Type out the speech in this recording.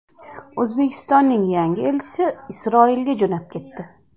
O‘zbekistonning yangi elchisi Isroilga jo‘nab ketdi.